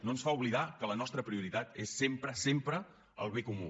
no ens fa oblidar que la nostra prioritat és sempre sempre el bé comú